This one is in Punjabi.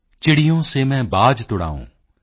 ਚਿੜੀਓਂ ਸੇ ਮੈਂ ਬਾਜ ਤੁੜਾਊਂ